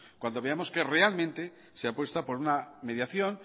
cuando veamos que realmente se apuesta por una mediación